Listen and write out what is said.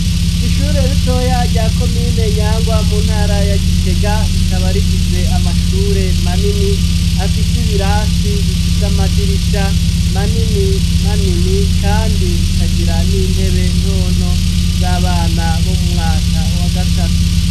Ishure ritoya rya komine Nyangwa mu ntara ya Gitega rikaba rifise amashure manini ,afise ibirasi bifise amadirisha manini manini kandi ikagira n'intebe ntonto z'abana bo mu mwaka wa gatatu.